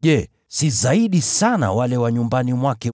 je, si watawaita zaidi wale wa nyumbani mwake!